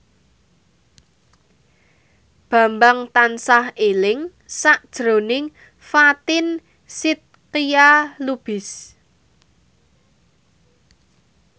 Bambang tansah eling sakjroning Fatin Shidqia Lubis